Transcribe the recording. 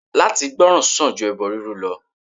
Látí gbòrán sań ju ebo rurú lọ